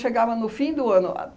no fim do ano a